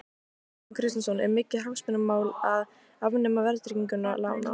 Kristján Kristjánsson: Er mikið hagsmunamál að afnema verðtryggingu lána?